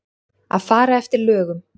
Að fara eftir lögum.